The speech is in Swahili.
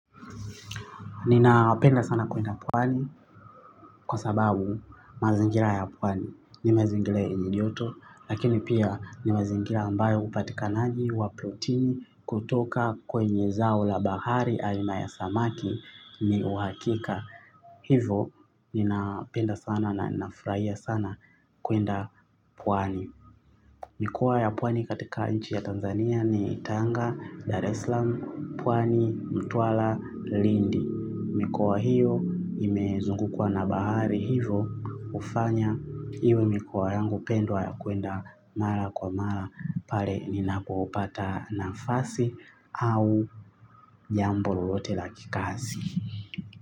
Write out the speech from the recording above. Ninapenda sana kuenda pwani kwa sababu mazingira ya pwani ni mazingira yenye joto lakini pia ni mazingira ambayo upatikanaji wa protini kutoka kwenye zao la bahari aina ya samaki ni uhakika. Hivo ninapenda sana na nafurahia sana kuenda pwani. Mikoa ya pwani katika nchi ya Tanzania ni Tanga, Dar eslam, pwani, mtwala, lindi. Mikoa hiyo imezungukwa na bahari hivo hufanya iwe mikoa yangu pendwa ya kuenda mara kwa mara pale ninapopata nafasi au jambo lolote la kikazi.